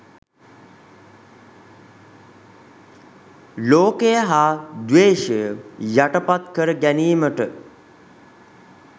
ලෝකය හා ද්වේෂය යටපත් කර ගැනීමට